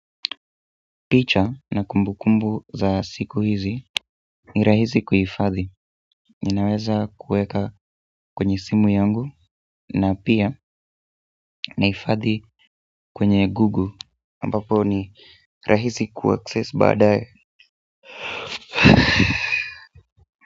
Picha na kumbu kumbu za siku hizi ni rahisi kuifadhi ninaweza kuweka kwenye simu yangu na pia nahifadhi kwenye google ambapo ni rahisi kuaccess baadae.